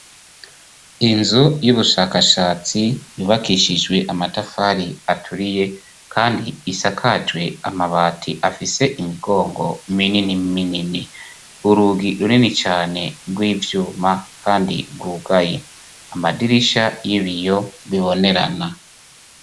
Inzu y'ubushakashatsi yubakishijwe amatafari aturiye kandi isakajwe amabati afise imigongo minini minini. Urugi runini cane rw'ivyuma kandi rwugaye amadirisha y'ibiyo bibonerana.